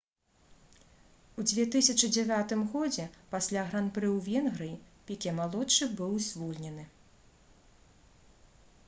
у 2009 годзе пасля гран-пры ў венгрыі піке малодшы быў звольнены